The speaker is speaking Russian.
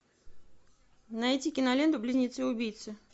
найти киноленту близнецы убийцы